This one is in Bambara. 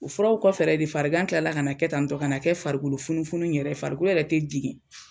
O furaw kɔfɛ yɛrɛ de fariganw kilala ka kɛ tan ton ka na kɛ farikolo funufunu yɛrɛ ye farikolo yɛrɛ te digin